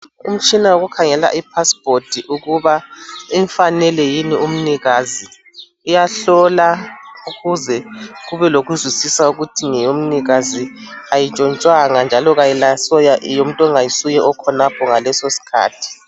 Umtshina wokukhangela I passport ukuba imfanele yini umnikazi. Iyahlola ukuze kube lokuzwisisa ukuthi ngeyomnikazi ayintshontshwanga njalo ayisiyo yomuntu ongayisuye okhonapho ngasoleso isikhathi